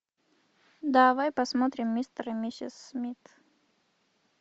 давай посмотрим мистер и миссис смит